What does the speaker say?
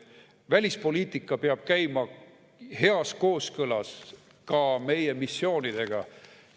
Välispoliitika peab käima heas kooskõlas ka meie missioonidega.